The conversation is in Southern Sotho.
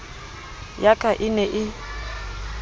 ya ka e ne e